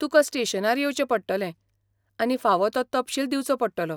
तुका स्टेशनार येवचें पडटलें आनी फावो तो तपशील दिवचो पडटलो.